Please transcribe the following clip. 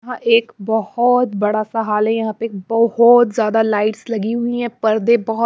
एक बहुत बड़ा सा हाल है यहां बहुत ज्यादा लाइट्स लगी हुई है पर्दे--